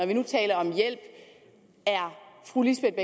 vi nu taler om hjælp er fru lisbeth